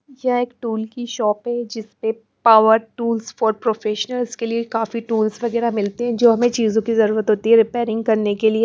यह एक टूल की शॉप है जिस पे पावर टूल्स फॉर प्रोफेशनल्स के लिए काफी टूल्स वगैरह मिलते हैं जो हमें चीजों की जरूरत होती है रिपेयरिंग करने के लिए--